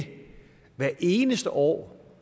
hvert eneste år